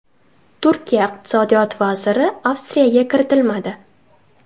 Turkiya iqtisodiyot vaziri Avstriyaga kiritilmadi.